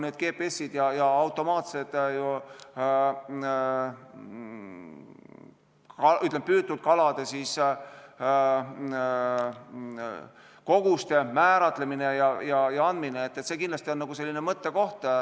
Need GPS-id ja automaatne püütud kalade koguste kindlaksmääramine on kindlasti mõttekoht.